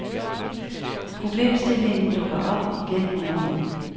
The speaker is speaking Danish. Problemstillingen dukker op igen og igen.